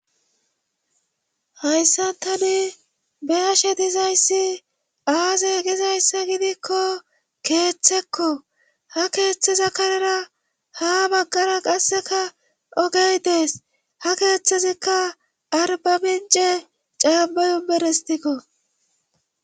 Hayssan tani beashe dizayssi aaze gizayssa gidikko keeththekko ha keeththeza karera ha baggara qasseka ogey dees ha keeththezikka arbamince caambayo berestikko